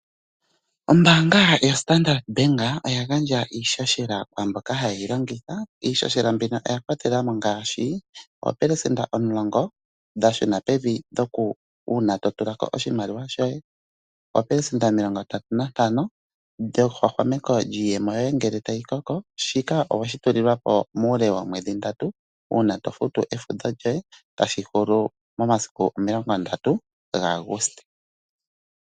Ombaanga yoStandard Bank oya gandja iihohela kwaa mboka haye yi longitha. Iihohela mbino oya kwatela mo ngaashi oopelesenda omulongo dha shuna pevi uuna to tula ko oshimaliwa shoye, oopelesenda omilongondatu nantano dhehwahwameko lyiiyemo yoye ngele tayi koko. Shika owe shi tulilwa po muule woomwedhi ndatu uuna to futu efudho lyoye tashi hulu momasiku 30 Auguste.